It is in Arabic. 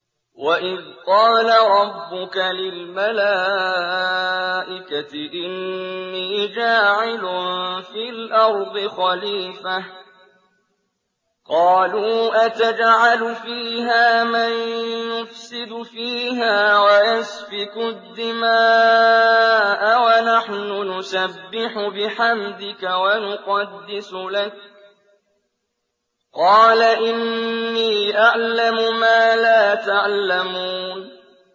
وَإِذْ قَالَ رَبُّكَ لِلْمَلَائِكَةِ إِنِّي جَاعِلٌ فِي الْأَرْضِ خَلِيفَةً ۖ قَالُوا أَتَجْعَلُ فِيهَا مَن يُفْسِدُ فِيهَا وَيَسْفِكُ الدِّمَاءَ وَنَحْنُ نُسَبِّحُ بِحَمْدِكَ وَنُقَدِّسُ لَكَ ۖ قَالَ إِنِّي أَعْلَمُ مَا لَا تَعْلَمُونَ